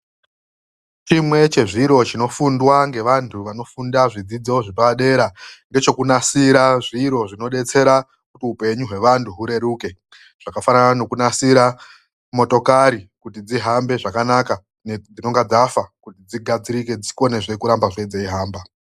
CHIMWE CHEZVIRO CHINOFUNDWA NGEVANTU VANOFUNDA ZVIDZIDZO ZVEPADERA NGECHOKUNASIRA ZVIRO ZVINODETSERA KUTI UPENYU HWEWANHU HURERUKE. ZVAKAFANANA NEKUNASIRA MOTOKARI KUTI DZIHAMBE ZVAKANAKA DZINONGA DZAFA KUTI DZIGADZIRIKE DZIKONEZVE KURAMBA DZEIHAMBA.